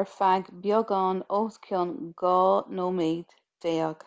ar feadh beagán os cionn dhá nóiméad déag